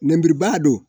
Nɛnburubaga don